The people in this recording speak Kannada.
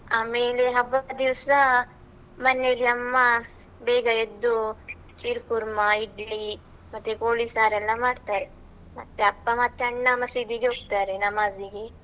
ಆಮೇಲೆ ಹಬ್ಬದ ದಿವ್ಸ, ಮನೆಯಲ್ಲಿ ಅಮ್ಮ ಬೇಗ ಎದ್ದು ಸೀರ್ ಕುರ್ಮಾ, ಇಡ್ಲಿ ಮತ್ತೆ ಕೋಳಿ ಸಾರ್ ಎಲ್ಲ ಮಾಡ್ತಾರೆ, ಮತ್ತೆ ಅಪ್ಪ ಮತ್ತೆ ಅಣ್ಣ ಮಸೀದಿಗೆ ಹೋಗ್ತಾರೆ ನಮಾಜಿಗೆ.